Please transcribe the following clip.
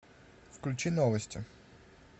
включи новости